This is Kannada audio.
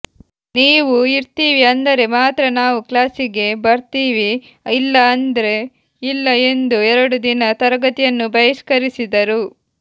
ನೀವು ಇರ್ತೀವಿ ಅಂದರೆ ಮಾತ್ರ ನಾವು ಕ್ಲಾಸಿಗೆ ಬರ್ತೀವಿ ಇಲ್ಲ ಅಂದ್ರೆ ಇಲ್ಲ ಎಂದು ಎರಡು ದಿನ ತರಗತಿಯನ್ನು ಬಹಿಷ್ಕರಿಸಿದರು